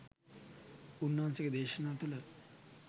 උන්වහන්සේගේ දේශනා තුළ